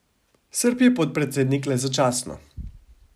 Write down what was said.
Srb je podpredsednik le začasno.